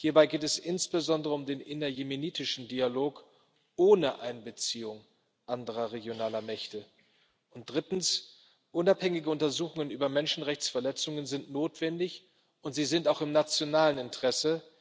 Hierbei geht es insbesondere um den innerjemenitischen Dialog ohne Einbeziehung anderer regionaler Mächte. Und drittens Unabhängige Untersuchungen über Menschenrechtsverletzungen sind notwendig, und sie sind auch im nationalen Interesse.